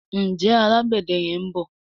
Njé Alágbède yén bó?